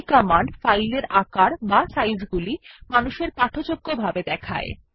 এই কমান্ড স্থানগলি মানুষের পাঠযোগ্য বিন্যাসেও দেখায়